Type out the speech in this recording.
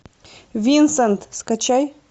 винсент скачай